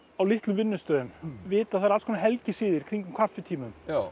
á litlum vinnustöðum vita að það eru alls konar helgisiðir kringum kaffitíma